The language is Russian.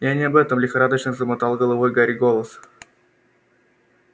я не об этом лихорадочно замотал головой гарри голос